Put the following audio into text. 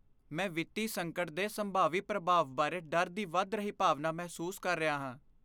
ਮੈਂ ਵਿੱਤੀ ਸੰਕਟ ਦੇ ਸੰਭਾਵੀ ਪ੍ਰਭਾਵ ਬਾਰੇ ਡਰ ਦੀ ਵਧ ਰਹੀ ਭਾਵਨਾ ਮਹਿਸੂਸ ਕਰ ਰਿਹਾ ਹਾਂ।